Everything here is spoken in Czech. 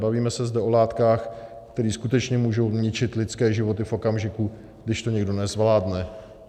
Bavíme se zde o látkách, které skutečně můžou ničit lidské životy v okamžiku, když to někdo nezvládne.